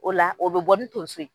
O la o be bɔ ni tonso ye.